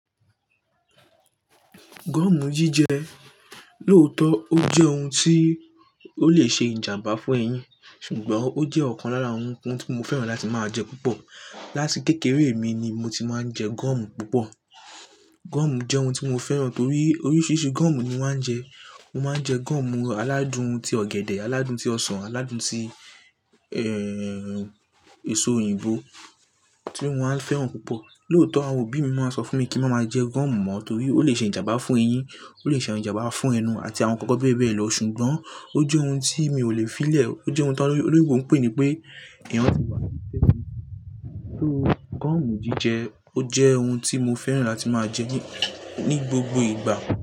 Gọ́mù jíjẹ lóòótọ́, ó jẹ́ ohun tí ó lè ṣe ìjàmbá fún eyín, ṣùgbọ́n ó jẹ́ ọ̀kan lára ohun tí mo fẹ́ràn láti máa jẹ púpọ̀. Látì kẹ́kẹ̀ẹ̀rẹ̀ mi ni mo ti máa ń jẹ gọ́mù púpọ̀. Gọ́mù jẹ́ ohun tí mo fẹ́ràn torí oríṣìíríṣìí gọ́mù ni mo máa ń jẹ. Mo máa ń jẹ gọ́mù aládùn ti ọ̀gẹ̀dẹ̀, aládùn ti ọsàn, aládùn ti, èso òyìnbó tí mo máa ń fẹ́ràn púpọ̀. Lóòótọ́ àwọn òbí mi máa ń sọ fún mi kí n máa ma jẹ gọ́mù mọ́ torí ó lè ṣe ìjàmbá fún eyín, ó lè ṣe ìjàmbá fún ẹnu àti àwọn nnkan bẹ́ẹ̀ bẹ́ẹ̀ lọ ṣùgbọ́n ó jẹ́ ohun tí mi ò lè filẹ̀. Ó jẹ́ ohun to loyinbo mpè ní pé, "Èèyàn tó wà ní tẹ́lẹ̀" Gọ́mù jíjẹ ó jẹ́ ohun tí mo fẹ́ràn láti máa jẹ ní, ní gbogbo ìgbà.